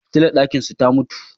Fitilar ɗakinsu ta mutu.